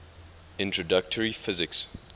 introductory physics